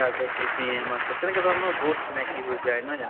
তাৰ পিছত BPM আছে তেনেকুৱা ধৰনৰ বহুত চিনাকি হৈ যায় নহয় জানো